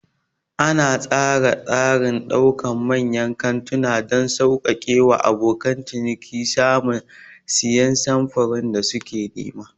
Ana tsara tsarin ɗakunan manyan kantuna don sauƙaƙe wa abokan ciniki samun da siyan samfuran da suke nema.